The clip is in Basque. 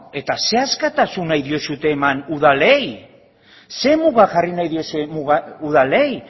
beno eta zer askatasun nahi diozue eman udalei zer muga jarri nahi diozue udalei